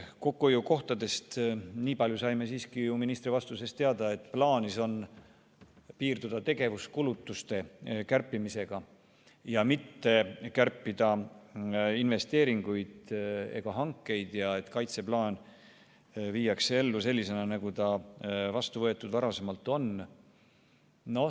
Kokkuhoiukohtadest saime nii palju siiski ministri vastusest teada, et plaanis on piirduda tegevuskulutuste kärpimisega ning investeeringuid ega hankeid ei kärbita ja et kaitseplaan viiakse ellu sellisena, nagu ta varasemalt vastu võetud on.